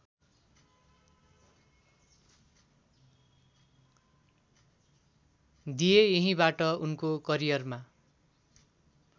दिए यहीँबाट उनको करिअरमा